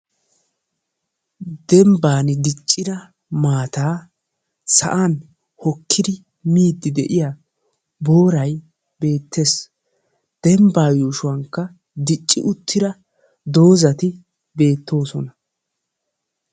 Dembbaani diccida maataa sa'an hokkidi miiddi de'iya booray beettees. Dembbaa yuushuwankka dicci uttida doozati beettoosona.